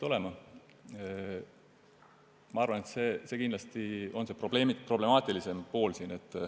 Ma arvan, et see on siin kindlasti problemaatilisem pool.